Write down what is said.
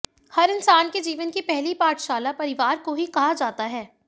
हर इंसान के जीवन की पहली पाठशाला परिवार को ही कहा जाता है